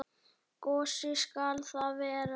Gosi skal það vera.